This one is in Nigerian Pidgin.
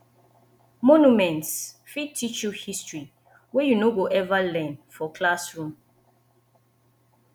monuments fit teach you history wey you no go ever learn for classroom